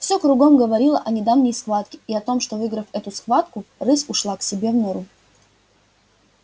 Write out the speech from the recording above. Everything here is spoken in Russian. всё кругом говорило о недавней схватке и о том что выиграв эту схватку рысь ушла к себе в нору